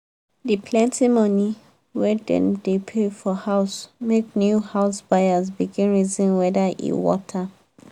the plenty money wey dem dey pay for house make new house buyers begin reason whether e worth am.